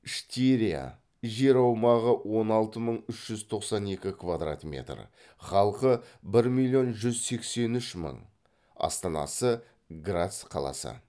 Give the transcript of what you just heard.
штирия жер аумағы он алты мың үш жүз тоқсан екі квдрат метр халқы бір миллион жүз сексен үш мың астанасы грац қаласы